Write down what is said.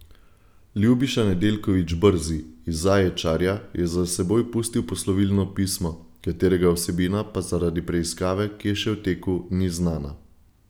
Ljubiša Nedeljković Brzi iz Zaječarja je za seboj pustil poslovilno pismo, katerega vsebina pa zaradi preiskave, ki je še v teku, ni znana.